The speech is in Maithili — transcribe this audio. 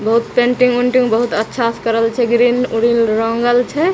बहुत पेंटिंग वेंटिंग बहुत अच्छा से करल छै ग्रील व्रिल रंगल छै।